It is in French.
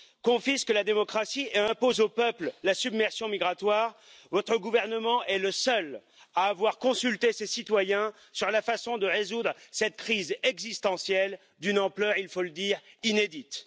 confisquent la démocratie et imposent aux peuples la submersion migratoire, votre gouvernement est le seul à avoir consulté ses citoyens sur la façon de résoudre cette crise existentielle d'une ampleur il faut le dire inédite.